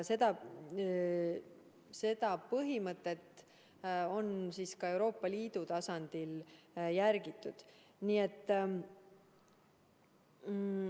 Seda põhimõtet on ka Euroopa Liidu tasandil järgitud.